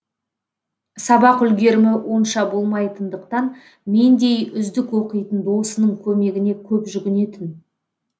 сабақ үлгерімі онша болмайтындықтан мендей үздік оқитын досының көмегіне көп жүгінетін